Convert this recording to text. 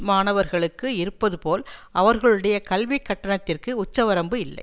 மாணவர்களுக்கு இருப்பது போல் அவர்களுடைய கல்விக் கட்டணத்திற்கு உச்ச வரம்பு இல்லை